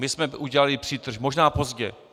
My jsme udělali přítrž, možná pozdě.